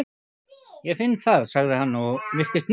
Ég finn það, sagði hann og virtist miður sín.